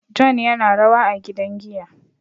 John yana rawa a gidan giya